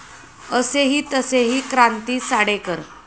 असेही तसेही क्रांती साडेकर